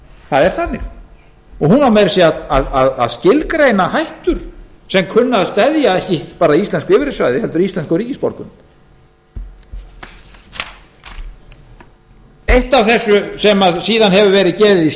það er þannig og hún á meira að segja að skilgreina hættur sem kunna að steðja ekki bara að íslensku yfirráðasvæði heldur að íslenskum ríkisborgurum eitt af því sem síðan hefur verið gefið í skyn